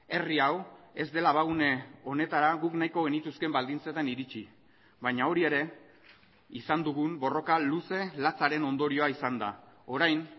herri hau ez dela abagune honetara guk nahiko genituzkeen baldintzetan iritsi baina hori ere izan dugun borroka luze latzaren ondorioa izan da orain